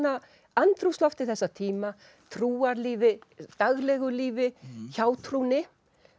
andrúmslofti þessa tíma trúarlífi daglegu lífi hjátrúnni